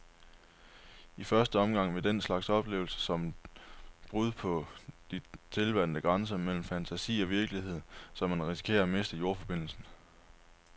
I første omgang vil den slags altid opleves som et brud på de tilvante grænser mellem fantasi og virkelighed, så man risikerer at miste jordforbindelsen.